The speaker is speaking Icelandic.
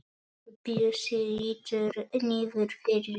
Bjössi lítur niður fyrir sig.